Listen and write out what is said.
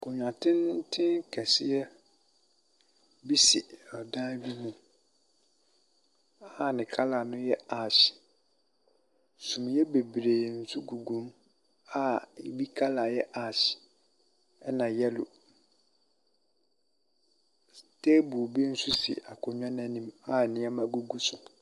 Akonnwa tenten kɛseɛ sisi adan bi mu a ne colour no yɛ ash. Sumiiɛ bebree nso gu mu a ɛbi colour yɛ ash ɛnna yellow. Table bi nso si akonnwa no anim a nneɛma gu so.